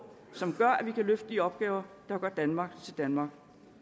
som gør at vi kan løfte de opgaver der gør danmark til danmark